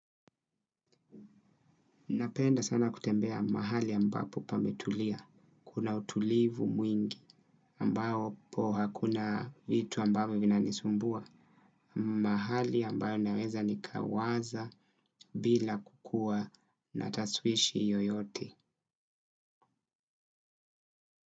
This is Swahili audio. Napenda sana kutembea mahali ambapo pametulia, kuna utulivu mwingi ambapo hakuna vitu ambavyo vinanisumbua, mahali ambayo naweza nikawaza bila kukuwa natashwishi yoyote.